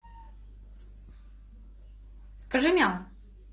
скажи мяу